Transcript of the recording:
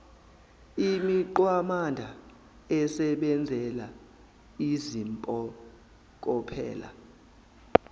imigwamanda esebenzela izimpokophelo